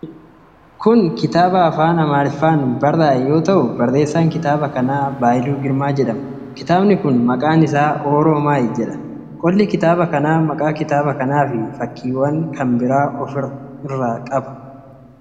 Kun kitaaba afaan Amaariffaan barraa'e yoo ta'u, barreessaan kitaaba kanaa Baayiluu Girmaa jedhama. Kitaabi kun maqaan isaa 'Oromaayi' jedha. Qolli kitaaba kanaa maqaa kitaaba kanaa fi fakkiiwwan kan biraa of irraa qaba.